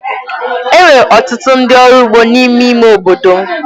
E nwere ọtụtụ ndị ọrụ ugbo n’ime ime obodo m.